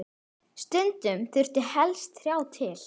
Stundum þurfi helst þrjá til.